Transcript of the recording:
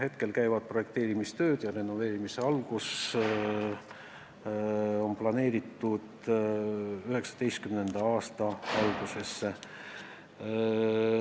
Praegu käivad projekteerimistööd, renoveerimise algus on planeeritud 2019. aasta algusesse.